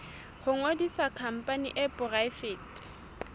ho ngodisa khampani e poraefete